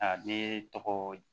A be tɔgɔ